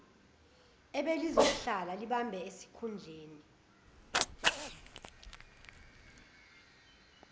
ebelizosihlala libambe isikhundleni